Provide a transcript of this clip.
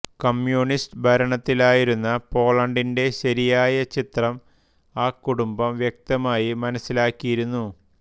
communist ഭരണത്തിലായിരുന്ന പോളണ്ടിന്റെ ശരിയായ ചിത്രം ആ കുടുംബം വ്യക്തമായി മനസ്സിലാക്കിയിരുന്നു